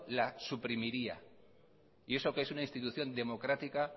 la suprimiría y eso que es una institución democrática